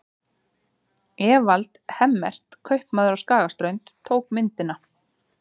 Evald Hemmert, kaupmaður á Skagaströnd, tók myndina.